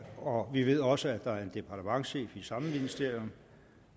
og vi ved også at der er en departementschef i samme ministerium